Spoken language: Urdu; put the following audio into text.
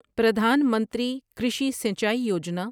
پردھان منتری کرشی سینچائی یوجنا